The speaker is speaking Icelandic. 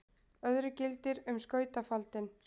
öðru gildir um skautafaldinn